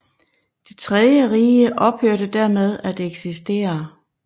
Det tredje Rige ophørte dermed at eksistere